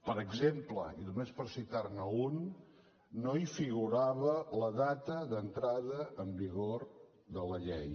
per exemple i només per citarne un no hi figurava la data d’entrada en vigor de la llei